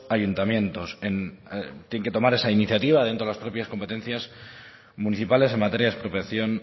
ayuntamientos tienen que tomar esa iniciativa dentro de las propias competencias municipales en materia de expropiación